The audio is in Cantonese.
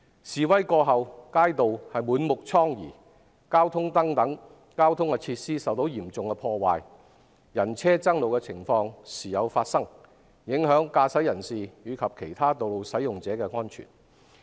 示威過後，街道滿目瘡痍，交通燈等設施受到嚴重破壞，人車爭路的情況時有發生，影響駕駛人士及其他道路使用者的安全。